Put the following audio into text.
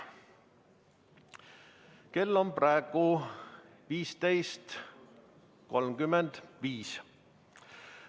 Kell on praegu 15.35.